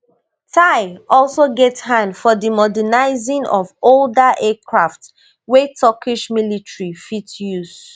tai also get hand for di modernising of older aircraft wey turkish military fit use